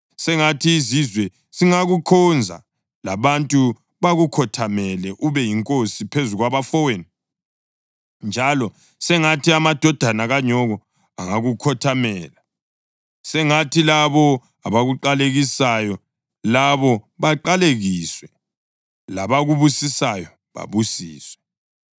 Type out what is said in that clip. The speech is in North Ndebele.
Sengathi izizwe zingakukhonza labantu bakukhothamele. Ube yinkosi phezu kwabafowenu, njalo sengathi amadodana kanyoko angakukhothamela. Sengathi labo abakuqalekisayo labo baqalekiswe labakubusisayo babusiswe.”